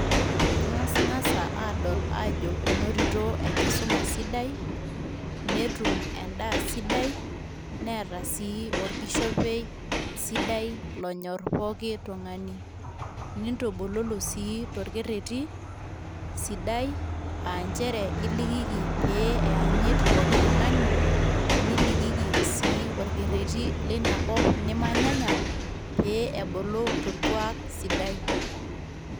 Nkasnkasa adol ajo enotito enkisuma sidai, netum endaa sidai, neeta sii orkishopei sidai lonyor pooki tung'ani. Nintubululu sii torkereti sidai aanjere ilikiki pee eyanyit pooki tung'ani, nilikiki sii orkereti linakop nimanyanya pee ebulu torkuak sidai.